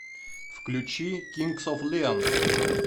включи кингс оф леон